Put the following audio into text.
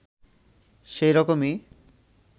সে রকমই